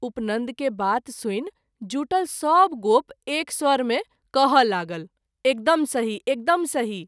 उपनन्द के बात सुनि जुटल सभगोप एक स्वर मे कहय लागल एकदम सही-एकदम सही।